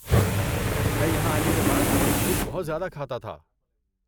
میں یہاں آنے کے بعد جنک فوڈ بہت زیادہ کھاتا تھا۔